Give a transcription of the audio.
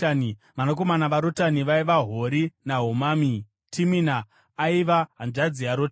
Vanakomana vaRotani vaiva: Hori naHomami, Timina aiva hanzvadzi yaRotani.